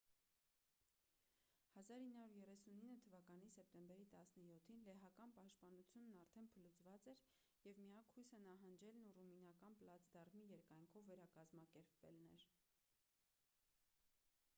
1939 թ սեպտեմբերին 17-ին լեհական պաշտպանությունն արդեն փլուզված էր և միակ հույսը նահանջելն ու ռումինական պլացդարմի երկայնքով վերակազմակերպվելն էր